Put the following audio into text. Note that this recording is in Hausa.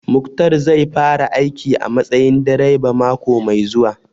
Muktar zai fara aiki a matsayin direba mako mai zuwa